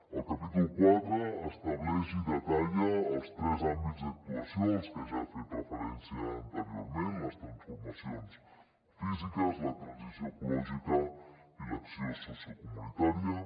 el capítol quatre estableix i detalla els tres àmbits d’actuació als que ja he fet referència anteriorment les transformacions físiques la transició ecològica i l’acció sociocomunitària